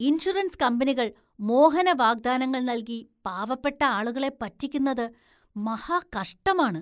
Insurance കമ്പനികള്‍ മോഹന വാഗ്ദാനങ്ങള്‍ നല്‍കി പാവപ്പെട്ട ആളുകളെ പറ്റിക്കുന്നത് മഹാകഷ്ടമാണ്.